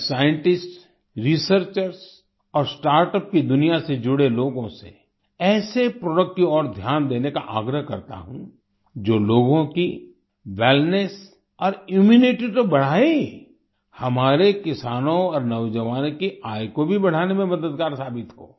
मैं scientists researchers और startup की दुनिया से जुड़े लोगों से ऐसे प्रोडक्ट्स की ओर ध्यान देने का आग्रह करता हूं जो लोगों की वेलनेस और इम्यूनिटी तो बढाए हीं हमारे किसानों और नौजवानों की आय को भी बढ़ाने में मददगार साबित हो